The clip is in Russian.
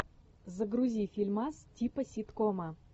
загрузи фильмас типа ситкома